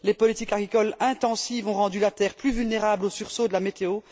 Les politiques agricoles intensives ont rendu la terre plus vulnérable aux sursauts de la météo.